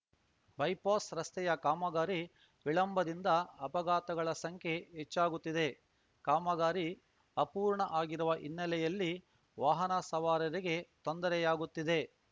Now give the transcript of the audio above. bypass ರಸ್ತೆಯ ಕಾಮಗಾರಿ ವಿಳಂಬದಿಂದ ಅಪಘಾತಗಳ ಸಂಖ್ಯೆ ಹೆಚ್ಚಾಗುತ್ತಿದೆ ಕಾಮಗಾರಿ ಅಪೂರ್ಣ ಆಗಿರುವ ಹಿನ್ನೆಲೆಯಲ್ಲಿ ವಾಹನ ಸವಾರರಿಗೆ ತೊಂದರೆಯಾಗುತ್ತಿದೆ